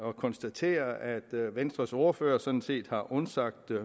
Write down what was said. at konstatere at venstres ordfører sådan set har undsagt